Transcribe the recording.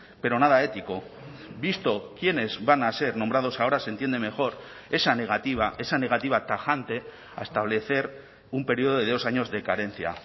pero nada ético visto quienes van a ser nombrados ahora se entiende mejor esa negativa esa negativa tajante a establecer un periodo de dos años de carencia